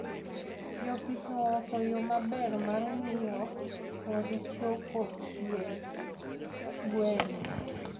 Jopith ooso yoo maber mar ngiyo kod choko chiedh gweno